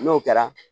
N'o kɛra